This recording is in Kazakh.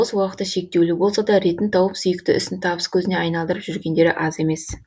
бос уақыты шектеулі болса да ретін тауып сүйікті ісін табыс көзіне айналдырып жүргендері аз емес